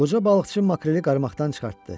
Qoca balıqçı makreli qarmaqdan çıxartdı.